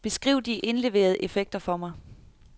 Beskriv de indleverede effekter for mig.